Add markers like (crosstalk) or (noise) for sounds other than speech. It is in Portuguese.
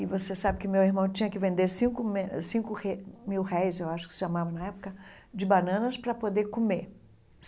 E você sabe que meu irmão tinha que vender cinco (unintelligible) cinco (unintelligible) mil réis, eu acho que se chamava na época, de bananas para poder comer.